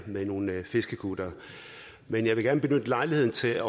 med nogle fiskekuttere men jeg vil gerne benytte lejligheden til at